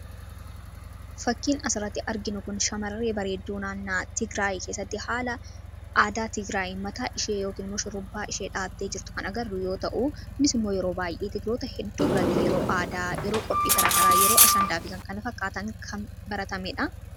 Fakkiin as irratti arginu kun shamarree bareedduu naannoo tigraayii keessatti haala aadaa tigiraayi mataa ishee yokin shurrrubbaa ishee dha'attee jirtu kan agarru yoo ta'u kunis immoo yeroo baay'ee tigiroota hedduu biratti aada yeroo qophii garaagaraa yeroo ashaandaafikan kana fakkaataan kan baratamee dha.